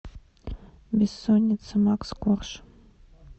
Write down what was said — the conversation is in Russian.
бессонница макс корж